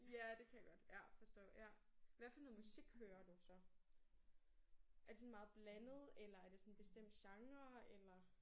Ja det kan jeg godt ja forstå ja. Hvad for noget musik hører du så? Er det sådan meget blandet eller er det sådan en bestemt genre eller?